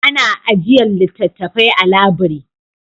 Ana ajiyar littattafai a labiri.